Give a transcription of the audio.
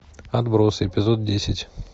отбросы эпизод десять